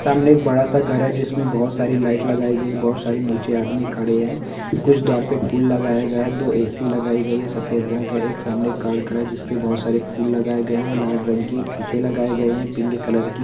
एक बड़ा-सा घर है जिसमें बहोत सारी लाइट लगाई गयी हैं। बहोत सारी नीचे आदमी खड़े हैं। कुछ द्वार पे फूल लगाए गया है। दो ए.सी लगाई गई है। सफेद रंग का एक सामने कार खड़ा है जिसपे बहोत सारे फूल लगाए गए है। लाल रंग के फीते लगाए गए हैं। Pink colour --